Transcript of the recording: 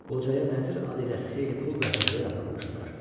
Qocaya nəzir adı ilə xeyli pul və hədiyyə də aparmışdılar.